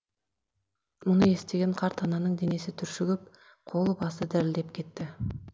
мұны естіген қарт ананың денесі түршігіп қолы басы дірілдеп кетті